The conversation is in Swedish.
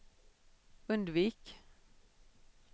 undvik